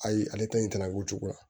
Ayi ale ta in tala ko cogoya